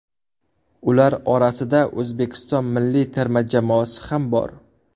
Ular orasida O‘zbekiston milliy terma jamoasi ham bor .